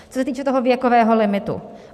Co se týče toho věkového limitu.